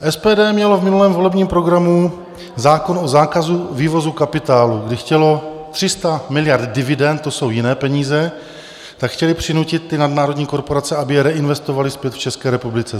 SPD mělo v minulém volebním programu zákon o zákazu vývozu kapitálu, kdy chtělo 300 miliard dividend, to jsou jiné peníze, tak chtěli přinutit ty nadnárodní korporace, aby je reinvestovaly zpět v České republice.